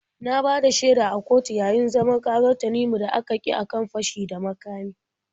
Na bada shaida a kotu yayi zaman ƙarar Tanimu da aka kyi a kan fashi da makami.